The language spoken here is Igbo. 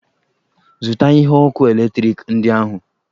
Zụta ihe ọkụ eletrik ndị ahụ!